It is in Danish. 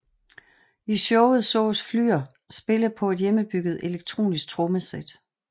I showet sås Flür spille på et hjemmebygget elektronisk trommesæt